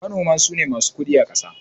Manoma sune masu kudi akasa